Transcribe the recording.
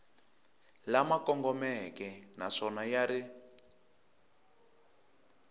lama kongomeke naswona ya ri